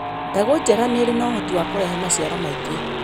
Mbegũ njega nĩ irĩ ũhoti wa kũrehe maciaro maingĩ.